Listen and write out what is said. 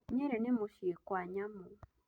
Nyeri nĩ mũciĩ kwa nyamũ.